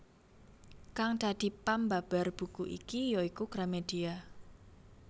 Kang dadi pambabar buku iki ya iku Gramedia